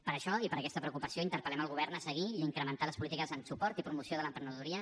per això i per aquesta preocupació interpel·lem el govern a seguir i a incrementar les polítiques en suport i promoció de l’emprenedoria